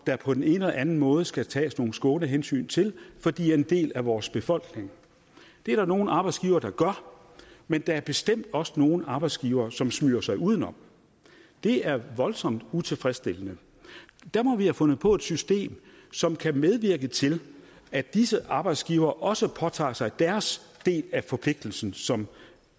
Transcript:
på den ene eller anden måde skal tages nogle skånehensyn til fordi de er en del af vores befolkning det er der nogle arbejdsgivere der gør men der er bestemt også nogle arbejdsgivere som smyger sig udenom det er voldsomt utilfredsstillende der må vi har fundet på et system som kan medvirke til at disse arbejdsgivere også påtager sig deres del af forpligtelsen som